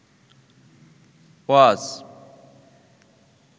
ওয়াজ